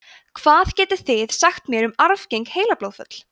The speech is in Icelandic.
hvað getið þið sagt mér um arfgeng heilablóðföll